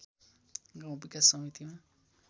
गाउँ विकास समितिमा